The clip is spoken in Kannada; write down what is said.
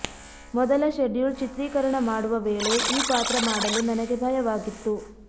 ಮೊದಲ ಶೆಡ್ಯೂಲ್ ಚಿತ್ರೀಕರಣ ಮಾಡುವ ವೇಳೆ ಈ ಪಾತ್ರ ಮಾಡಲು ನನಗೆ ಭಯವಾಗಿತ್ತು